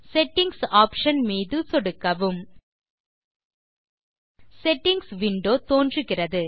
settings option மீது சொடுக்கவும் settings window தோன்றுகிறது